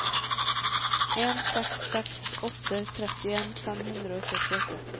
en seks seks åtte trettien fem hundre og syttiåtte